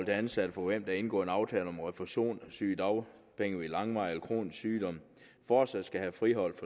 ansatte for hvem der er indgået en aftale om refusion af sygedagpenge ved langvarig kronisk sygdom fortsat skal friholdes